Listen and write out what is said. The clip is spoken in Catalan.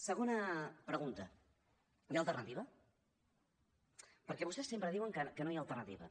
segona pregunta hi ha alternativa perquè vostès sempre diuen que no hi ha alternativa